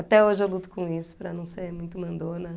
Até hoje eu luto com isso, para não ser muito mandona.